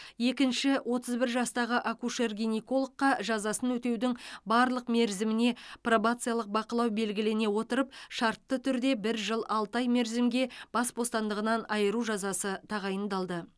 екінші отыз бір жастағы акушер гинекологқа жазасын өтеудің барлық мерзіміне пробациялық бақылау белгілене отырып шартты түрде бір жыл алты ай мерзімге бас бостандығынан айыру жазасы тағайындалды